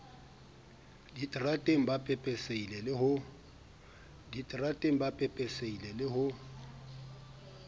diterateng ba pepesehile le ho